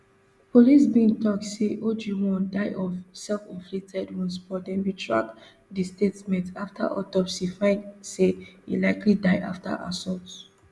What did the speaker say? police bin tok say ojwang die of selfinflicted wounds but dem retract di statement afta autopsy find say e likely die afta assault